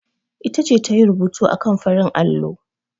Ita ce ta yi rubutu akan farin allo.